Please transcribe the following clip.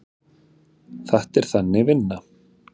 Þetta er Þannig vinna.